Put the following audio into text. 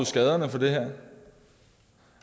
skaderne efter det her